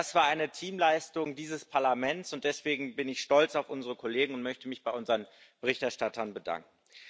Das war eine Teamleistung dieses Parlaments, und deswegen bin ich stolz auf unsere Kollegen und möchte mich bei unseren Berichterstattern bedanken.